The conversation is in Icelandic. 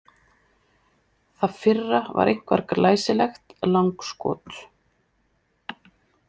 Það fyrra var einkar glæsilegt langskot.